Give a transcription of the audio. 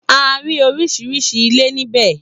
A rí oríṣiríṣi ilé níbẹ̀